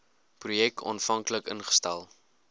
projek aanvanklik ingestel